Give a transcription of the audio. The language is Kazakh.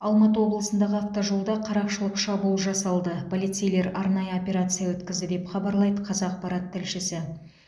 алматы облысындағы автожолда қарақшылық шабуыл жасалды полицейлер арнайы операция өткізді деп хабарлайды қазақпарат тілшісі